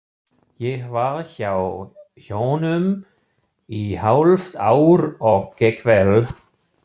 Ég var hjá honum í hálft ár og gekk vel.